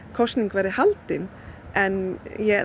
kosning verði haldin en